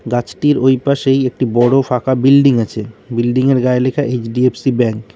গাছটির ওই পাশেই একটি বড় ফাঁকা বিল্ডিং আছে বিল্ডিংয়ের গায়ে লেখা এইচ_ডি_এফ_সি ব্যাংক ।